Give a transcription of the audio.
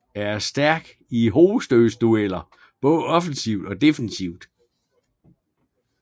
Er stærk i hovedstødsdueller både offensivt og defensivt